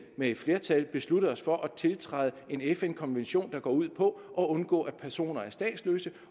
med et flertal i besluttet os for at tiltræde en fn konvention der går ud på at undgå at personer er statsløse